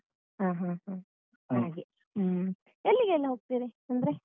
ಹ ಹ ಹ ಹಾಗೆ ಹ್ಮ ಎಲ್ಲಿಗೆಲ್ಲಾ ಹೋಗ್ತೀರಿ ಅಂದ್ರೆ?